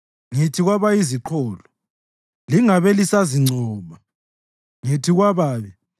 Ngithi kwabayiziqholo, ‘Lingabe lisazincoma,’ ngithi kwababi, ‘Lingaziphakamisi impondo zenu.